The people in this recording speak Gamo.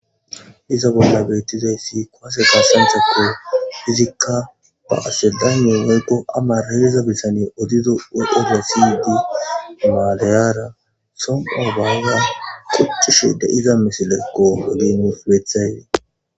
Izabuna betizaysi kwase kasantse ko hizika baasseldaniye mugo amaraerizabissanye odido weefassydi maleyara soma baaza kucushede iza mesele goholine flethayle.